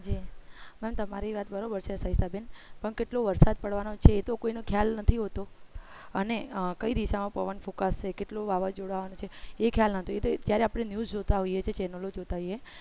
પણ તમારી વાત બરોબર છે સવિતા બેન પણ કેટલું વરસાદ પડવાનો છે તો કોઈનો ખ્યાલ નથી હોતો અને કઈ દિશામાં પવન ફૂકાસે કેટલો વાવાઝોડા છે એ ખ્યાલ ન હતી ત્યારે આપણે news જોતા હોઈએ છીએ channel જોતા હોઈએ